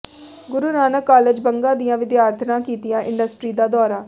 ਗੁਰੂ Nanak college Banga ਦੀਆਂ ਵਿਦਿਆਰਥਣਾਂ ਕੀਤਾ ਇੰਡਸਟਰੀ ਦਾ ਦੌਰਾ